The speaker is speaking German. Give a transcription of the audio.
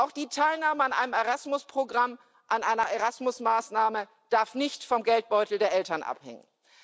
Auch die Teilnahme an einem Erasmus Programm, an einer Erasmus Maßnahme darf nicht vom Geldbeutel der Eltern abhängen.